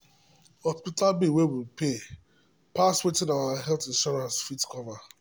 hospital bill wey we pay pass wetin our health insurance fit cover.